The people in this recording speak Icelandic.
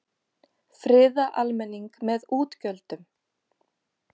Friða almenning með útgjöldum